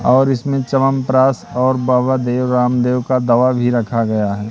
और इसमें चवनप्राश और बाबा देव रामदेव का दवा भी रखा गया है।